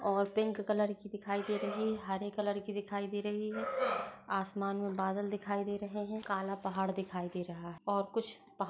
और pink colour की दिखाई दे रही है हरे कलर की दिखाई दे रही है आसमान में बदल दिखाई दे रहे हैं काल पहाड़ दिखाई दे रहा है और कुछ--